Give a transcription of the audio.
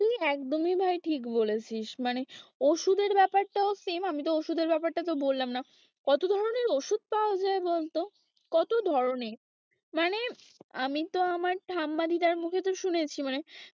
তুই একদমই ভাই ঠিক বলেছিস মানে ওষুধের ব্যাপারটাও same আমি তো ওষুধের ব্যাপারটা বললাম না কত ধরনের ওষুধ পাওয়া যায় বলতো কত ধরনের মানে আমি তো আমার ঠাম্মা-দিদার মুখে তো শুনেছি মানে,